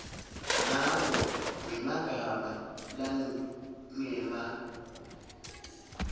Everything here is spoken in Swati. ngako ngemagama langema